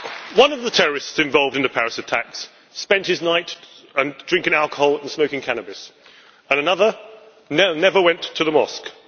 One of the terrorists involved in the Paris attacks spent his nights drinking alcohol and smoking cannabis, and another never went to the mosque.